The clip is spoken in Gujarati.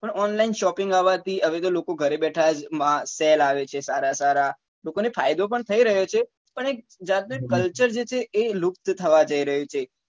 પણ online shopping આવવા થી હવે તો લોકો ઘરે બેઠા જ મહા સેલ આવે છે સારા સારા લોકો ને ફાયદો પણ થઇ રહ્યો છે પણ એક જાત ને culture જે છે એ લુપ્ત થવા જઈ રહ્યું છે